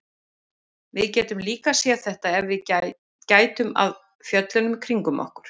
Við getum líka séð þetta ef við gætum að fjöllunum kringum okkur.